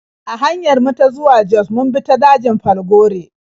A hanyar mu ta zuwa Jos mun bi ta dajin Falgore.